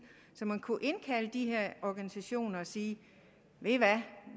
så man kunne indkalde de her organisationer og sige ved i hvad